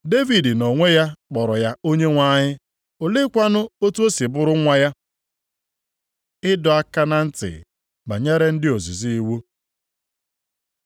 Devid nʼonwe ya kpọrọ ya ‘Onyenwe anyị.’ Oleekwanụ otu o si bụrụ nwa ya?” Ịdọ aka na ntị banyere ndị ozizi iwu